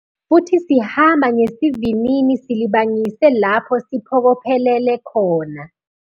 Futhi sihamba ngesivinini silibangise lapho siphokophelele khona.